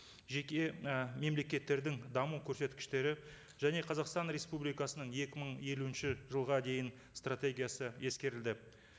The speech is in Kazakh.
жеке і мемлекеттердің даму көрсеткіштері және қазақстан республикасының екі мың елуінші жылға дейін стратегиясы ескерілді